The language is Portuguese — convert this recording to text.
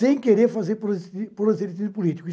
Sem querer fazer pros proselitismo político.